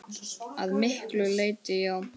Að miklu leyti já.